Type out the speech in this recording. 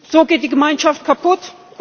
So geht die Gemeinschaft kaputt!